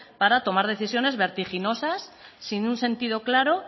para tomar decisiones vertiginosas sin un sentido claro